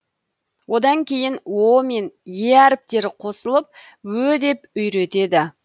одан кейін о мен е әріптері қосылып ө деп үйретеді